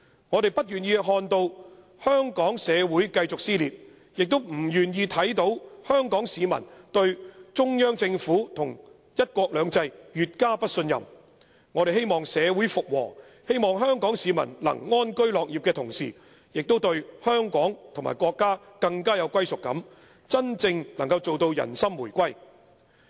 我們不願意看到香港社會繼續撕裂，也不願意看見香港市民對中央政府和'一國兩制'越加不信任；我們希望社會復和，希望香港市民能安居樂業的同時，也對香港和國家更有歸屬感，真正能夠做到人心回歸。